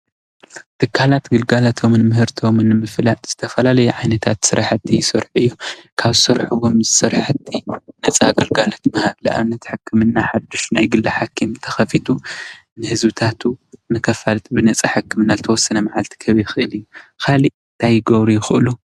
ትካላት ግልጋሎቶምን ምህርቶምን ንምፍላጥ ዝተፈላለዩ ዓይነታት ስራሕቲ ይሰርሑ እዮም፡፡ ካብ ዝሰርሕዎም ስራሕቲ ነፃ ግልጋሎት ምሃብ ንኣብነት-ሕክምና ሓዱሽ ናይ ግሊ ሓኺም እንተኸፊቱ ንህዝብታቱ ንከፋልጥ ብነፃ ናይ ሕክምና ንዝተወሰነ መዓልቲ ክህብ ይኽእል እዩ፡፡ ካሊእ ታይ ክገብሩ ይኽእሉ?